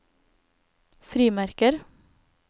frimerker